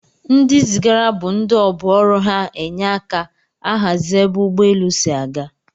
Ndi zigara bu ndi ọbụ ọrụ ha enye aka ahazi ebe ụgbọ elụ si aga.